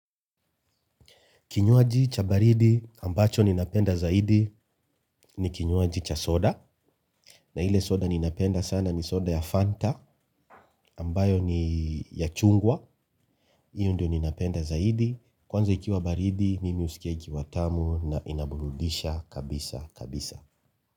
Kinywaji cha baridi ambacho ninapenda zaidi ni kinywaji cha soda. Na ile soda ninapenda sana ni soda ya Fanta ambayo ni ya chungwa. Hiyo ndiyo ninapenda zaidi. Kwanza ikiwa baridi mimi husikia ikiwa tamu na inaburudisha kabisa kabisa.